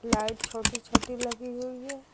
Light छोटी छोटी लगी हुई है।